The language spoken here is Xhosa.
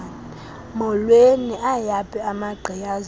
mholweni ayaphi amagqiyazane